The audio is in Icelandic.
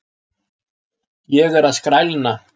Ég er að skrælna!